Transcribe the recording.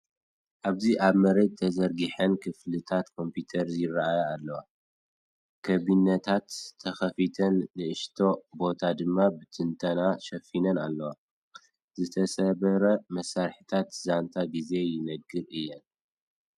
ኣብዚ ኣብ መሬት ተዘርጊሐን ክፍልታት ኮምፒተር ይረኣያ ኣለዋ። ካቢነታት ተኸፊተን፡ ንእሽቶ ቦታ ድማ ብትንተና ተሸፊነን ኣለዋ። ዝተሰብረ መሳርሒታት ዛንታ ግዜ ይነግሩ እዮም።